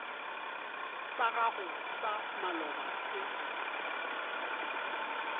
sa gago sa maloba se